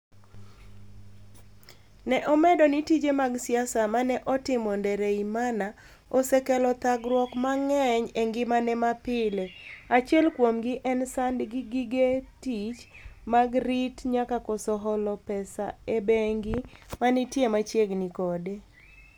ne omedo ni tije mag siasa ma ne otimo Ndereyimana osekelo thagruok mang'eny e ngimane mapile. Achiel kuomgi en sand gi gige tich mag rit nyaka koso holo pesa e bengi manitie machiegni kode .